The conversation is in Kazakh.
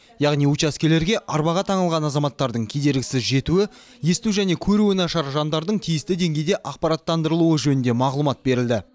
яғни учаскелерге арбаға таңылған азаматтардың кедергісіз жетуі есту және көруі нашар жандардың тиісті деңгейде ақпараттандырылуы жөнінде мағлұмат берілді